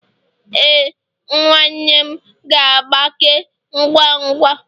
Ee, nwa nwanne m ga-agbake ngwa ngwa